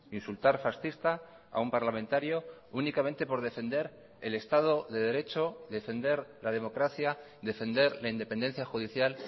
insultar fascista a un parlamentario únicamente por defender el estado de derecho defender la democracia defender la independencia judicial